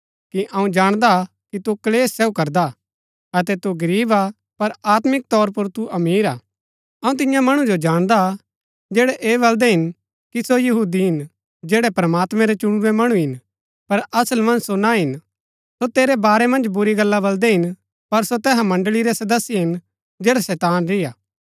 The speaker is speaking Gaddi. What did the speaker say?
अऊँ जाणदा हा कि तु क्‍लेश सहू करदा अतै तू गरीब हा पर आत्मिक तौर पुर तु अमीर हा अऊँ तिन्या मणु जो जाणदा हा जैड़ै ऐह बलदै हिन कि सो यहूदी हिन जैड़ै प्रमात्मैं रै चुणुरै मणु हिन पर असल मन्ज सो ना हिन सो तेरै बारै मन्ज बुरी गल्ला बलदै हिन पर सो तैहा मण्ड़ळी रै सदस्य हिन जैडा शैतान री हा